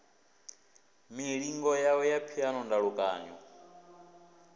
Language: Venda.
milingo yawe ya phiano ndalukanyo